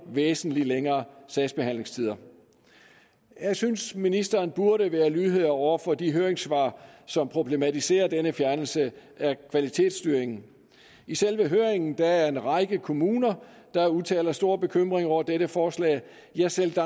væsentlig længere sagsbehandlingstider jeg synes at ministeren burde være lydhør over for de høringssvar som problematiserer denne fjernelse af kvalitetsstyringen i selve høringen er der en række kommuner der udtaler store bekymringer over dette forslag ja selv